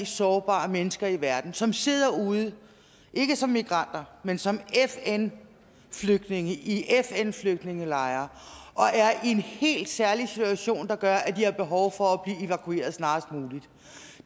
sårbare mennesker i verden som sidder derude ikke som migranter men som fn flygtninge i fn flygtningelejre og er i en helt særlig situation der gør at de har behov for at snarest muligt